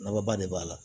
Naba de b'a la